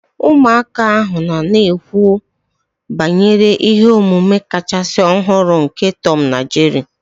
Ụmụaka ahụ nọ na-ekwu banyere ihe omume kachasị ọhụrụ nke Tom na Jerry